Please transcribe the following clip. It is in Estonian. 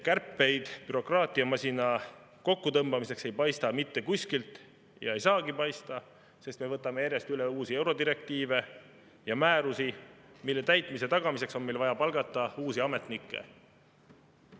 Kärpeid bürokraatiamasina kokkutõmbamiseks ei paista mitte kuskilt – ja ei saagi paista, sest me võtame järjest üle uusi eurodirektiive ja määrusi, mille täitmise tagamiseks on meil vaja palgata uusi ametnikke.